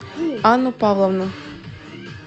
анну павловну